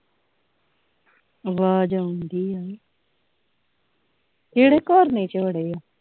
ਵਾਜ਼ ਆਉਣ ਡਈਆ ਨਾ ਕਿਹੜੇ ਕੌਰ ਨੇ ਵਿੱਚ ਵੜਿਆ